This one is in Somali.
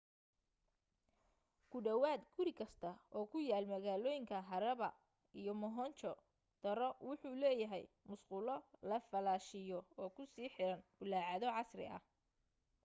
ku dhawaad guri kasta oo ku yaal magaalooyinka harappa iyo mohenjo-daro wuxu leeyahay musqulo la falaashiyo oo ku sii xiran bullaacado casri ah